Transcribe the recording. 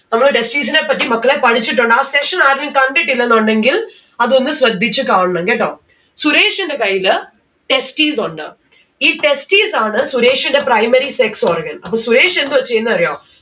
നമ്മള് testis നെപ്പറ്റി മക്കളെ പഠിച്ചിട്ടുണ്ട് ആ session ആരും കണ്ടിട്ടില്ലെന്ന് ഉണ്ടെങ്കിൽ അതൊന്ന് ശ്രദ്ധിച്ച് കാണണം. കേട്ടോ? സുരേഷിന്റെ കയ്യില് testis ഉണ്ട്. ഈ testis ആണ് സുരേഷിന്റെ primary sex organ അപ്പൊ സുരേഷ് എന്താ ചെയ്യുന്നേ അറിയോ